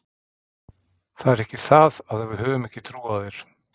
Það er ekki það að við höfum ekki trú á þér.